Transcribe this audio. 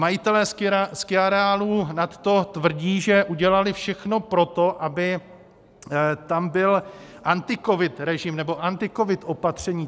Majitelé skiareálů nadto tvrdí, že udělali všechno pro to, aby tam byl anticovid režim nebo anticovid opatření.